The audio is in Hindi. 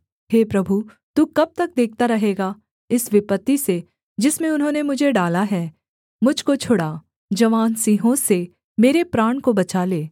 हे प्रभु तू कब तक देखता रहेगा इस विपत्ति से जिसमें उन्होंने मुझे डाला है मुझ को छुड़ा जवान सिंहों से मेरे प्राण को बचा ले